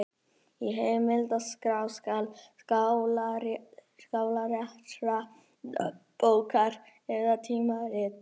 Í heimildaskrá skal skáletra nafn bókar eða tímarits.